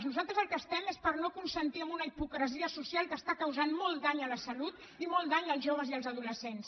nosaltres pel que estem és per no consentir una hipocresia social que està causant molt dany a la salut i molt dany als joves i adolescents